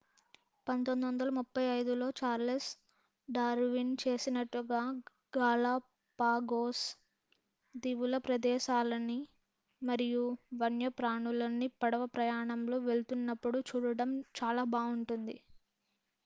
1835లో Charles Darwin చేసినట్టుగా Galapagos దీవుల ప్రదేశాలని మరియు వన్యప్రాణులని పడవ ప్రయాణంలో వెళ్తున్నప్పుడు చూడటం చాలా బావుంటుంది